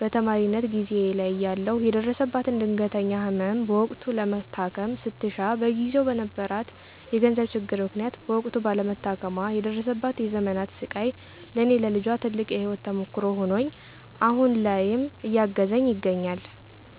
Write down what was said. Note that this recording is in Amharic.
በተማሪነት ጊዜየ ላይ እያለሁ የደረሰባትን ድንገተኛ ህመም በወቅቱ ለመታከም ስትሻ በጊዜው በነበረባት የገንዘብ ችግር ምክንያት በወቅቱ ባለመታከሟ የደረሰባት የዘመናት ስቃይ ለኔ ለልጇ ትልቅ የህይወት ተሞክሮ ሆኖኝ አሁን ላይም እያገዘኝ ይገኛል።